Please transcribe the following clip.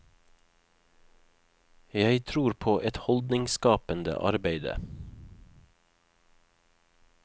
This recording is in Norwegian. Jeg tror på et holdningsskapende arbeide.